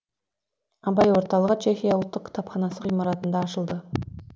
абай орталығы чехия ұлттық кітапханасы ғимаратында ашылды